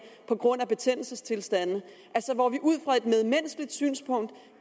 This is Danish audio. på grund af betændelsestilstande altså hvor vi ud fra et medmenneskeligt synspunkt